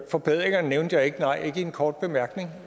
forbedringerne nævnte jeg ikke nej ikke i en kort bemærkning